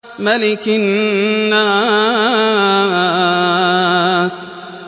مَلِكِ النَّاسِ